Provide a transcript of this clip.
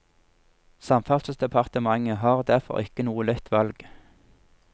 Samferdselsdepartementet har derfor ikke noe lett valg.